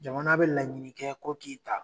Jamana bɛ laɲini kɛ ko k'i ta.